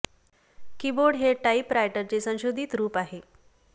की बोर्ड हे typewriter चे संशोधित रूप आहे